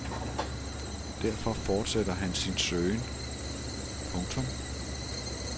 Derfor fortsætter han sin søgen. punktum